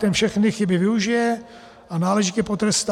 Ten všechny chyby využije a náležitě potrestá.